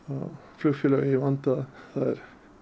flugfélög eiga í vanda það er